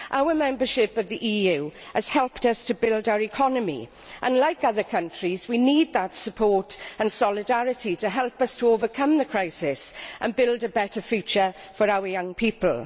Our membership of the EU has helped us to build our economy and, like other countries, we need that support and solidarity to help us to overcome the crisis and build a better future for our young people.